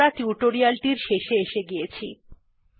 এখন আমরা টিউটোরিয়ালটির শেষে এসে গিয়েছি